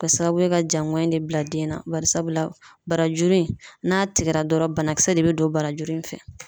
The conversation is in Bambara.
Ka sababu ye ka jaŋɔɲi de bila den na .Barisabula barajuru in n'a tigɛra dɔrɔn banakisɛ de be don barajuru in fɛ.